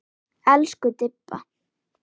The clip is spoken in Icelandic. Elsku Didda.